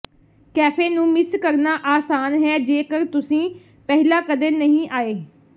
cafe ਨੂੰ miss ਕਰਨਾ ਆਸਾਨ ਹੈ ਜੇਕਰ ਤੁਸੀਂ ਪਹਿਲਾਂ ਕਦੇ ਨਹੀਂ ਆਏ